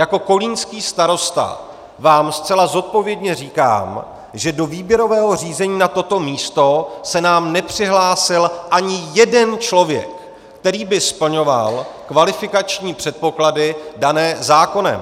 Jako kolínský starosta vám zcela zodpovědně říkám, že do výběrového řízení na toto místo se nám nepřihlásil ani jeden člověk, který by splňoval kvalifikační předpoklady dané zákonem.